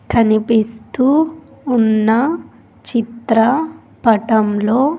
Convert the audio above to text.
కనిపిస్తూ ఉన్న చిత్ర పటంలో.